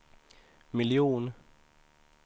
miljon